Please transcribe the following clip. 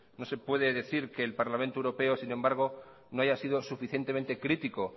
no se puede decir que el parlamente europeo sin embargo no haya sido suficientemente crítico